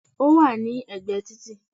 Ó wà ní ègbé títì